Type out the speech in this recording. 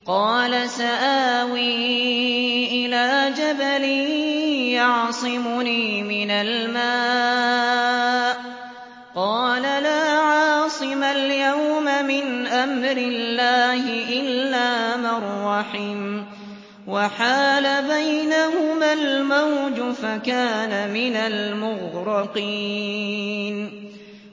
قَالَ سَآوِي إِلَىٰ جَبَلٍ يَعْصِمُنِي مِنَ الْمَاءِ ۚ قَالَ لَا عَاصِمَ الْيَوْمَ مِنْ أَمْرِ اللَّهِ إِلَّا مَن رَّحِمَ ۚ وَحَالَ بَيْنَهُمَا الْمَوْجُ فَكَانَ مِنَ الْمُغْرَقِينَ